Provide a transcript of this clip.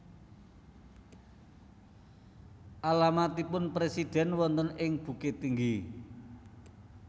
Alamatipun presiden wonten ing Bukittinggi